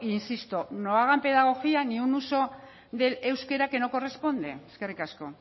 insisto no hagan pedagogía no un uso del euskera que no corresponde eskerrik asko